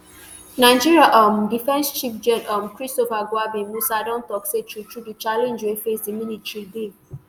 nigeria um defence chief gen um christopher gwabin musa don tok say truetrue di challenge wey face di military dey